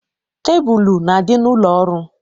Tebulu na-adị n'ụlọ ọrụ.